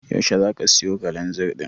Yaushe zaka siyo Kalanzir ɗin?